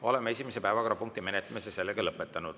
Oleme esimese päevakorrapunkti menetlemise lõpetanud.